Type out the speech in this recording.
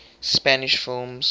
spanish films